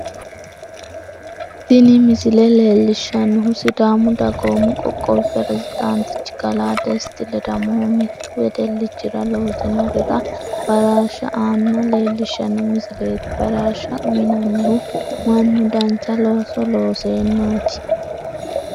Tinni misile leelishanohu sidaamu dagoomu qoqqowi pirezidaantichi kalaa desti ledamohu mitu wedelichira loosinorira baraarsha aanna leelishano misileeti. Baraarsha uyinannihu Manu dancha looso leeseenaati.